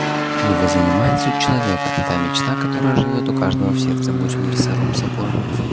его занимает суть человека та мечта которая живёт у каждого в сердце будь он лесоруб сапожник